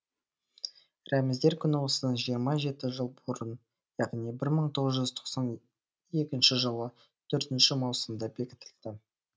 рәміздер күні осыдан жиырма жеті жыл бұрын яғни бір мың тоғыз жүз тоқсан екінші жылы төртінші маусымда бекітілді